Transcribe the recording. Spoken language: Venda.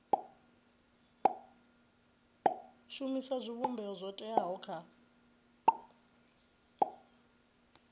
shumisa zwivhumbeo zwo teaho kha